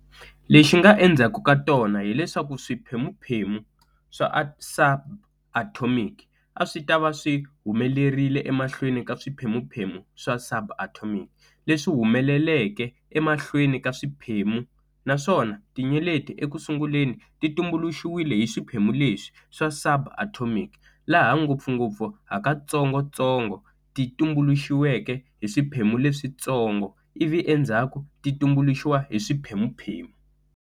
Lexi nga endzhaku ka tona hileswaku swiphemuphemu swa subatomic a swi ta va swi humelerile emahlweni ka swiphemuphemu swa subatomic, leswi humeleleke emahlweni ka swiphemuphemu, naswona tinyeleti eku sunguleni ti tumbuluxiwile hi swiphemu leswi swa subatomic, laha ngopfungopfu hakatsongotsongo ti tumbuluxiweke hi swiphemu leswitsongo, ivi endzhaku ti tumbuluxiwa hi swiphemuphemu.